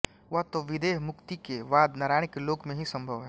वह तो विदेहमुक्ति के बाद नारायण के लोक में ही सँभव है